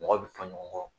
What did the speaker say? Mɔgɔ bɛ fɔ ɲɔgɔn kɔ